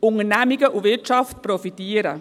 Unternehmungen und die Wirtschaft profitieren.